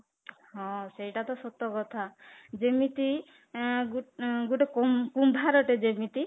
ହଁ, ସେଇଟା ତ ସତ କଥା ଯେମିତି ଆଁ ଗୋଟେ ଗୋଟେ କୁମ୍ଭାର ଟେ ଯେମିତି